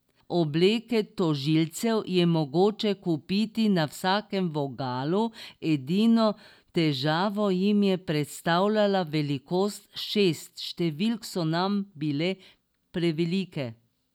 Obleke tožilcev je mogoče kupiti na vsakem vogalu, edino težavo jim je predstavljala velikost: 'Šest številk so nam bile prevelike.